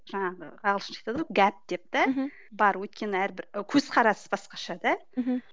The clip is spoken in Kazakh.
жаңағы ағылшынша айтады ғой гәд деп та мхм бар өйткені әрбір көзқарасы басқаша да мхм